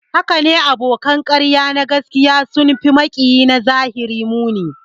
Hakane, abokan ƙarya na gaskiya sun fi maƙiya na zahiri muni